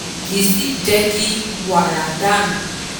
kì í sì í jẹ́ kí wàrà dà nù